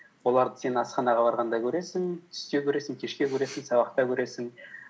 оларды сен асханаға барғанда көресің түсте көресің кешке көресің сабақта көресің